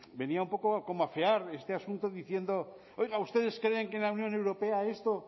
venía un poco a cómo afear este asunto diciendo oiga ustedes creen que en la unión europea esto